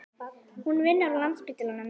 Hún vinnur á Landspítalanum.